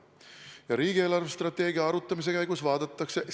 Ja riigi eelarvestrateegia arutamise käigus vaadatakse ...